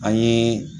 An ye